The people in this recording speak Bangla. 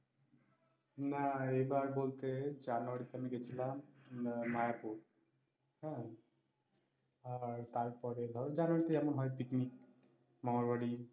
না এই বার বলতে জানুয়ারি তে আমি গেছিলাম মায়াপুর, হাঁ আর তারপর জানুয়ারি তে যেমন হয় picnic মামার বাড়ি